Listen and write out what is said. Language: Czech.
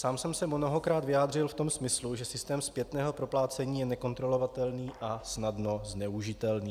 Sám jsem se mnohokrát vyjádřil v tom smyslu, že systém zpětného proplácení je nekontrolovatelný a snadno zneužitelný.